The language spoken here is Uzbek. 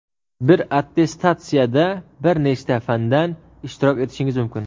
bir attestatsiyada bir nechta fandan ishtirok etishingiz mumkin.